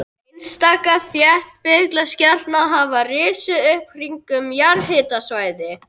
Einstaka þéttbýliskjarnar hafa risið upp kringum jarðhitasvæði.